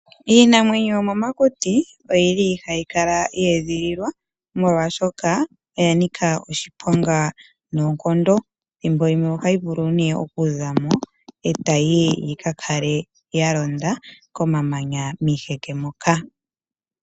Iinamwenyo yomomakuti oyi li hayi kala ye edhililwa, molwaashoka oya nika oshiponga noonkondo. Ethimbo limwe ohayi vulu nduno oku za mo , e tayi yi yika kale ya londa komamanya miiheke moka.